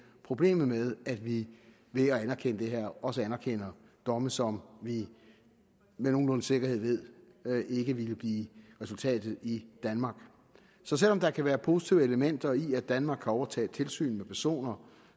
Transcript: problemet med at vi ved at anerkende det her også anerkender domme som vi med nogenlunde sikkerhed ved ikke ville blive resultatet i danmark så selv om der kan være positive elementer i at danmark kan overtage tilsynet med personer